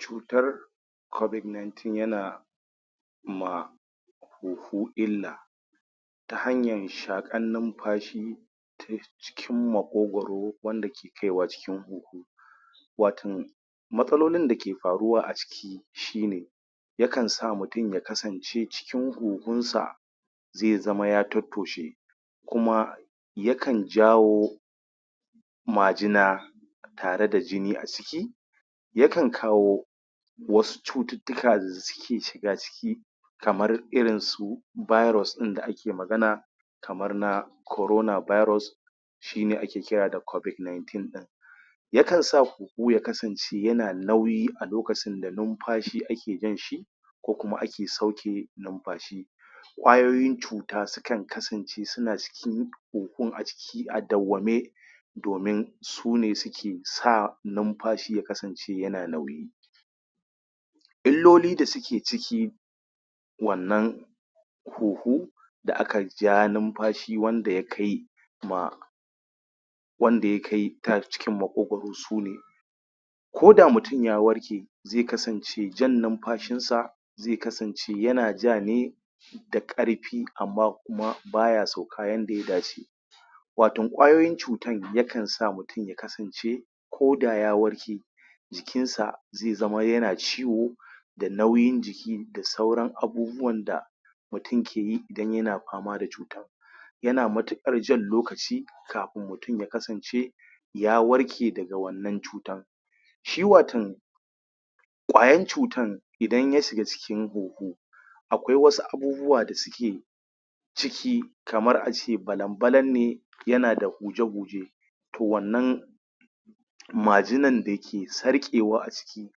Cutar covid-19 yana ma huhu illa ta hanyan shaƙan numfashi cikin maƙogoro wanda ke kaiwa cikin huhu watan matsalolin dake faruwa aciki shi ne ya kansa mutun ya kasance cikin huhun sa zai zama ya tottoshe kuma ya kan jawo majina tare da jini a ciki ya kan kawo wasu cututtuka da suke shiga ciki kamar irin su virus ɗin da ake magana kamar na korona virus shi ne ake kira da covid-19 ɗin ya kan sa huhu ya kasance yana nauyi a lokacin da numfashi ake jan shi ko kuma ake sauke numfashi ƙwayoyin cuta su kan kasance suna cikin huhun a ciki a dawwame domin sune suke sa numfashi ya kasance yana nauyi illoli da suke ciki wannan huhu da aka jaa numfashi wanda ya kai ma wanda ya kai ta cikin maƙogoro sune koda mutun ya warke zai kasance jan numfashin sa zai kasance yana ja ne da ƙarfi amma kuma baya sauka yanda ya dace waton ƙwayoyin cutan ya kan sa mutum ya kasance koda ya warke jikin sa zai zama yana ciwo da nauyin jiki da sauran abubuwan da mutun ke yi dan yana fama da cuta yana matuƙar jan lokaci kafun mutun ya kasance ya warke daga wannan cutan shi watan ƙwayan cutan idan ya shiga cikin huhu akwai wasu abubuwa da suke ciki kamar a ce balan-balan ne yana da huje-huje toh wannan majinan dake sarƙewa a ciki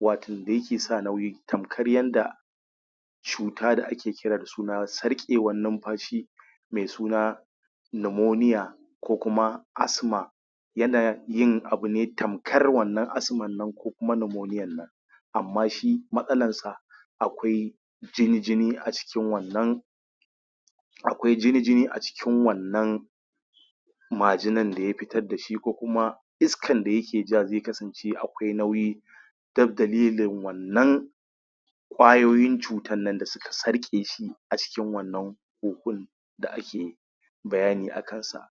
watan da yake sa nauyin tamkar yanda shuta da ake kira na sarƙewan numfashi mai suna namoniya ko kuma asma yana yin abune tamkar wannan asman nan ko kuma namoniyan nan amma shi matsalan sa akwai jini-jini a cikin wannan akwai jini-jini a cikin wannan majinan da ya fitar dashi ko kuma iskan da yake ja zai kasance akwai nauyi dab dalilin wannan ƙwayoyin cutan nan da suka sarƙe shi a cikin wannan huhun da ake bayani akan sa.